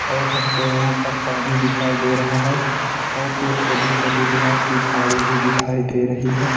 और हमको यहां पर पानी दिखाई दे रहा है और ये छोटी-छोटी घास की झाड़ी भी दिखाई दे रही है।